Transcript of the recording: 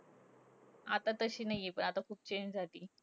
आता तशी नाहीये पण आता खूप change झालीये.